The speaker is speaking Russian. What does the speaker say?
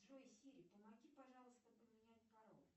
джой сири помоги пожалуйста поменять пароль